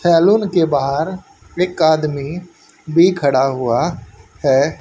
Salon के बाहर एक आदमी भी खड़ा हुआ है।